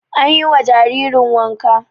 Anyi wa jaririn wanka